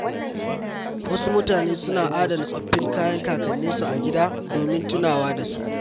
Wasu mutane suna adana tsoffin kayan kakanninsu a gida don tunawa da su.